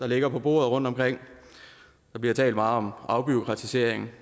ligger på bordene rundtomkring der bliver talt meget om afbureaukratisering